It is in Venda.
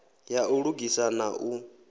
ya u lugisa na u